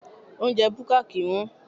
Oúnjẹ búkà kì ń wón.